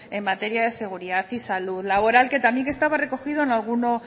en materia de seguridad y salud laboral que también estaba recogido en alguno